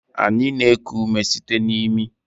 Anyị na-eku ume site na imi